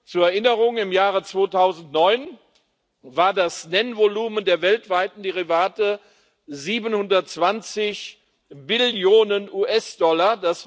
Zur Erinnerung Im Jahre 2009 war das Nennvolumen der weltweiten Derivate 720 Billionen US Dollar